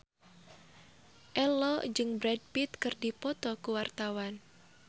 Ello jeung Brad Pitt keur dipoto ku wartawan